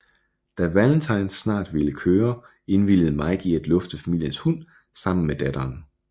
Da Valentis snart ville køre indvilligede Mike i at lufte familiens hund sammen med datteren